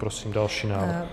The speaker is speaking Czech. Prosím další návrh.